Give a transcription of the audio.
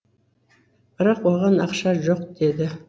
бірақ оған ақша жоқ деді